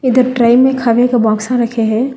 इधर ट्रे में खाने का बॉक्सा रखें हैं।